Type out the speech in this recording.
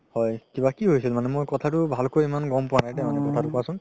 হয় কিবা কি হৈছিল মানে মই কথাতো ভালকৈ গ'ম পোৱা নাই দেই মানে কথাতো কোৱাচুন